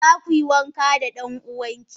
Zakuyi wanka dan uwanki?